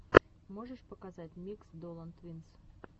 можешь показать микс долан твинс